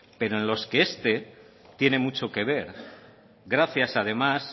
pero en los que este tiene mucho que ver gracias además